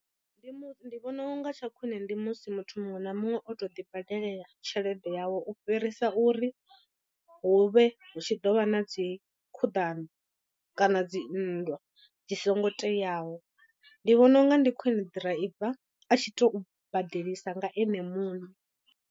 Ndi mu ndi vhona unga tsha khwine ndi musi muthu muṅwe na muṅwe o to ḓi badelela tshelede yawe u fhirisa uri hu vhe hu tshi ḓo vha na dzi khuḓano kana dzi nndwa dzi songo teaho ndi vhona unga ndi khwine ḓiraiva a tshi to badelisa nga ene muṋe.